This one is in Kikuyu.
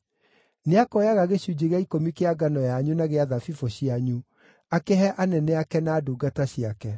Nĩakoyaga gĩcunjĩ gĩa ikũmi kĩa ngano yanyu na gĩa thabibũ cianyu akĩhe anene ake na ndungata ciake.